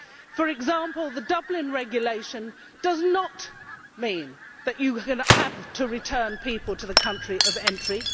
For example, the Dublin Regulation does not mean that you have to return people to the country of entry.